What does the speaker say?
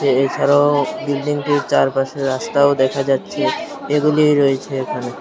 এছাড়াও বিল্ডিংটির চারপাশে রাস্তাও দেখা যাচ্ছে এগুলিই রয়েছে এখানে।